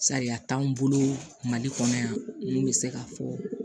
Sariya t'anw bolo mali kɔnɔ yan n'u bɛ se k'a fɔ